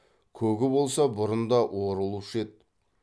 көгі болса бұрын да орылушы еді